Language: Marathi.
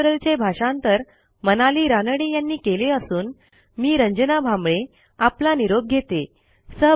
ह्या ट्युटोरियलचे भाषांतर मनाली रानडे यांनी केले असून मी रंजना भांबळे आपला निरोप घेते160